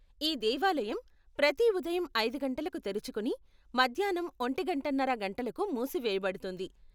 ఈ దేవాలయం ప్రతి ఉదయం ఐదు గంటలకు తెరుచుకుని మధ్యాన్నం ఒంటిగంటన్నర గంటలకు మూసివేయబడుతుంది.